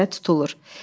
Həmidə tutulur.